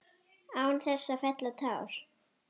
Án þess að fella tár.